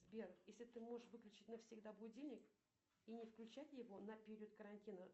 сбер если ты можешь выключить навсегда будильник и не включать его на период карантина